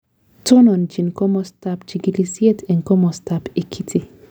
Tononchin komastab chikilisiet en komastab Ekiti